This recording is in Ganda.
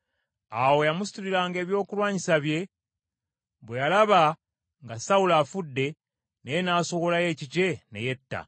Awo eyamusituliranga ebyokulwanyisa bwe yalaba nga Sawulo afudde, naye n’asowolayo ekikye ne yetta.